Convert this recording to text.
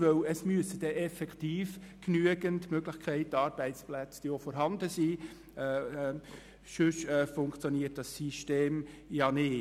Denn es müssen wirklich genügend Arbeitsplätze vorhanden sein, sonst wird dieses System nicht funktionieren.